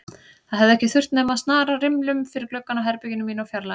Það hefði ekki þurft nema að snara rimlum fyrir gluggann á herberginu mínu og fjarlægja